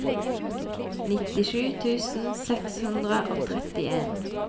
nittisju tusen seks hundre og trettien